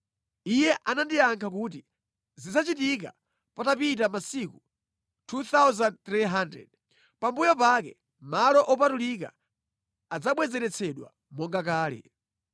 Iye anandiyankha kuti, “Zidzachitika patapita masiku 2,300; pambuyo pake malo opatulika adzabwezeretsedwa monga kale.”